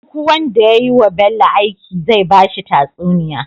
Duk wanda yayi wa Bello aiki zai bashi tatsuniya